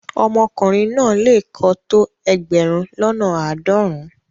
Omokunrin na le ko to egberun lona aadorun-un